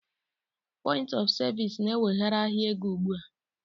Point of Service is now taking over the financial market